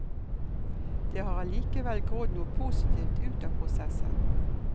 Det har allikevel grodd noe positivt ut av prosessen.